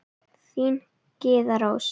Þín, Gyða Rós.